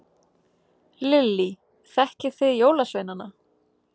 Lillý: Þekkið þið jólasveinana?